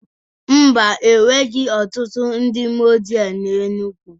Ḿbà, enweghị ọtụtụ ndị muzlim na Enugwu